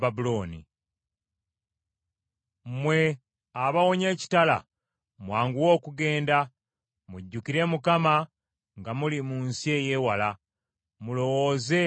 Mmwe abawonye ekitala, mwanguwe okugenda! Mujjukire Mukama nga muli mu nsi ey’ewala, mulowooze ku Yerusaalemi.”